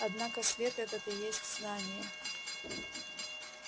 однако свет этот и есть знание